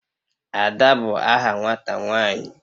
Ada bu aha nwata nwanyi